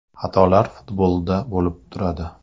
Xatolar futbolda bo‘lib turadi.